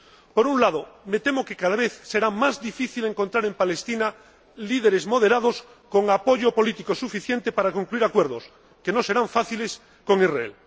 Por un lado, me temo que cada vez será más difícil encontrar en Palestina líderes moderados con apoyo político suficiente para concluir acuerdos —que no serán fáciles— con Israel.